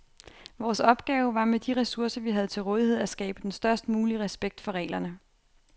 Vores opgave var med de ressourcer, vi havde til rådighed at skabe den størst mulige respekt for reglerne.